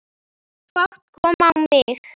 Fát kom á mig.